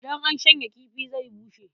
Idan an shanya kifi zai bushe.